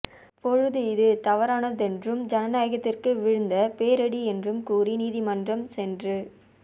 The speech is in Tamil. பொழுது இது தவறானதென்றும் ஜனநாயகத்திற்கு விழுந்த பேரிடி என்றும் கூறி உயர்நீதிமன்றம் சென்று